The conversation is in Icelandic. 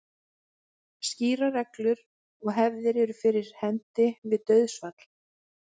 Skýrar reglur og hefðir eru fyrir hendi við dauðsfall.